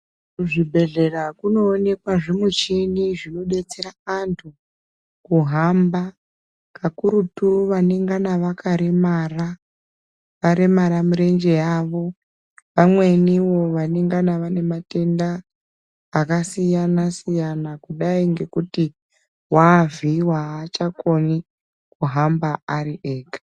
Kuzvibhedhlera kunoonekwa zvimuchini zvinodetsera antu kuhamba kakurutu vanengana vakaremara, varemara mirenje yavo, vamweniwo vanengana vane matenda akasiyana-siyana, kudai ngekuti wavhiyiwa haachakoni kuhamba ari ega.